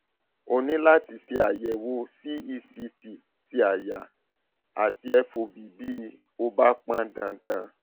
o ní láti ṣe àyẹwò cect ti àyà àti fob bí ó bá pọn dandan